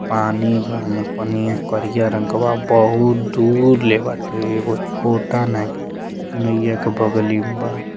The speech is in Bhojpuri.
पानी बा ओमे पनिया करिया रंग के बा। बहुत दूर ले बाटे। एगो छोटा नाय ब् नईया के बगली में बा।